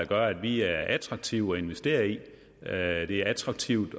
gør at vi er attraktive at investere i at det er attraktivt